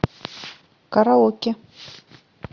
караоке